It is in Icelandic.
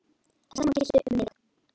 Það sama gilti um mig.